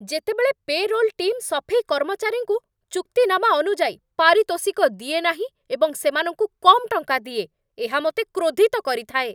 ଯେତେବେଳେ payroll team ସଫେଇ କର୍ମଚାରୀଙ୍କୁ ଚୁକ୍ତିନାମା ଅନୁଯାୟୀ ପାରିତୋଷିକ ଦିଏ ନାହିଁ ଏବଂ ସେମାନଙ୍କୁ କମ୍ ଟଙ୍କା ଦିଏ, ଏହା ମୋତେ କ୍ରୋଧିତ କରିଥାଏ।